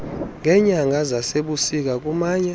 ngeenyanga zasebusika kumanye